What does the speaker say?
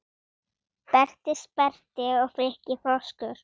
Berti sperrti og Frikki froskur